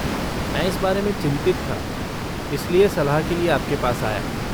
मैं इस बारे में चिंतित था, इसलिए सलाह के लिए आपके पास आया।